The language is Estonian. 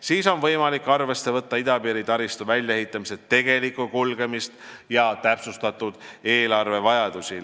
Siis on võimalik arvesse võtta idapiiri taristu väljaehitamise tegelikku kulgemist ja täpsustatud eelarvevajadusi.